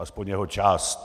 Alespoň jeho část.